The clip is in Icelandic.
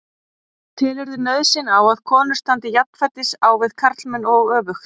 Telurðu nauðsyn á að konur standi jafnfætis á við karlmenn og öfugt?